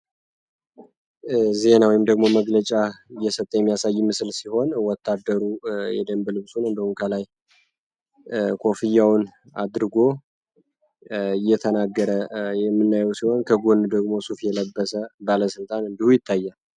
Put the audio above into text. ዜና ወይም ደግሞ መግለጫ የሰጠ የሚያሳይ ምስል ሲሆን፤ ወታደሩ የደንብ ልብሱን እንደሁን ከላይ ኮፍያውን አድርጎ እየተናገረ የምናዩው ሲሆን፤ ከጎን ደግሞ ሱፍ የለበሰ ባለሥልጣን እንዲሁ ይታያል።